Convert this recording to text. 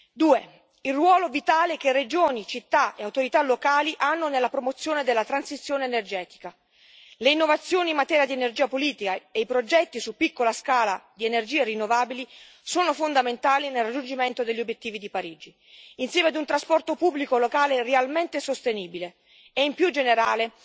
Due, il ruolo vitale che regioni, città e autorità locali hanno nella promozione della transizione energetica le innovazioni in materia di energia pulita e i progetti su piccola scala di energie rinnovabili sono fondamentali nel raggiungimento degli obiettivi di Parigi, insieme ad un trasporto pubblico locale realmente sostenibile e più in generale